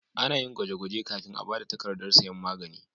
Ana yin gwaje-gwaje kafin a ba da takardar sayan magani.